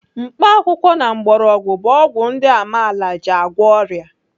Mkpakwụkwọ na mgbọrọgwụ bụ ọgwụ ndị amaala ji agwọ ọrịa.